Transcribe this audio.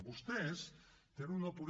vostès tenen una política